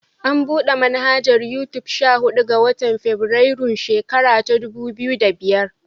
An buɗe manhajar Yutub sha huɗu ga. watan febirairun shekara ta dubu biyu da biyar.